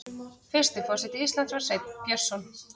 Fyrsti forseti Íslands var Sveinn Björnsson.